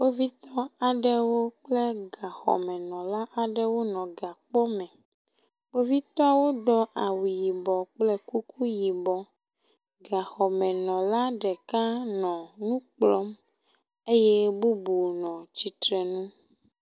Kpovitɔ aɖewo kple gaxɔmenɔla aɖewo nɔ gakpɔme. Kpovitɔawo do awu yibɔ kple kuku yibɔ. Gaxɔmenɔla ɖeka nɔ nu kplɔm eye bubu nɔ tsitrenu.